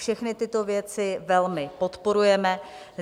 Všechny tyto věci velmi podporujeme.